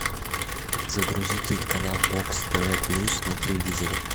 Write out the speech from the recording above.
загрузи телеканал бокс тв плюс на телевизоре